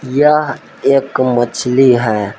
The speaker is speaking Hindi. यह एक मछली है।